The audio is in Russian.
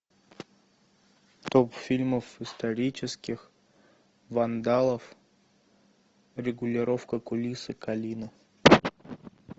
топ фильмов исторических вандалов регулировка кулисы калина